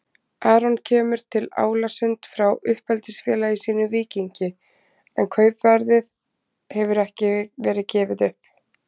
Aron kemur til Álasund frá uppeldisfélagi sínu Víkingi en kaupverðið hefur ekki verið gefið upp.